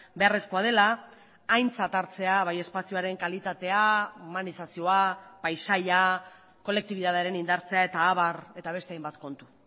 beharrezkoa dela aintzat hartzea bai espazioaren kalitatea humanizazioa paisaia kolektibitatearen indartzea eta abar eta beste hainbat kontu